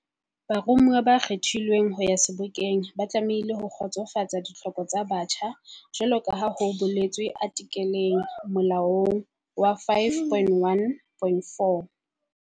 Baromuwa ba kgethilweng ho ya Sebokeng ba tlamehile ho kgotsofatsa ditlhoko tsa botjha jwalo ka ha ho boletswe artikeleng, molaong, ya 5.1.4'